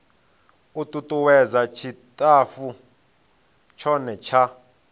u tutuwedza tshitafu tshothe tsha